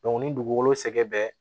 ni dugukolo sɛgɛn bɛ